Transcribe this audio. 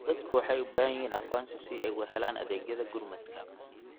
Dadku waxay u baahan yihiin aqoonsi si ay u helaan adeegyada gurmadka.